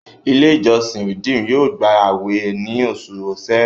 ilé ìjósìn redeem yóò gbà awẹ ní Oṣù Ṣẹ̀rẹ́.